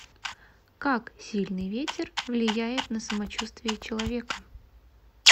как сильный ветер влияет на самочувствие человека